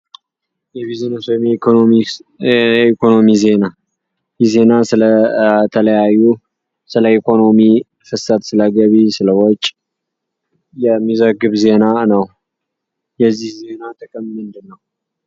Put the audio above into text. የቢዝነስ ወይም የኢኮኖሚ ዜና ይህ ዜና ስለተለያዩ ስለኢኮኖሚ ፣ስለንግድ ፣ስለወጪ የሚዘግብ ዜና ነው። የዚህ ዜና ጥቅም ምንድን ነው።